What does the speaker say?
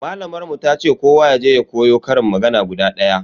Malamar mu tace kowa yaje ya koyo ƙarin magana guda daya.